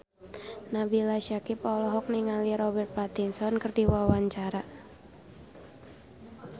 Nabila Syakieb olohok ningali Robert Pattinson keur diwawancara